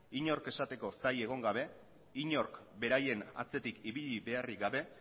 inork esateko zai egon gabe inork beraien atzetik ibili beharrik gabe